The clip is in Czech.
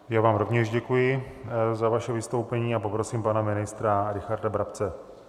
Já vám rovněž děkuji za vaše vystoupení a poprosím pana ministra Richarda Brabce.